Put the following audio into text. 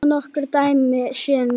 Svo nokkur dæmi séu nefnd.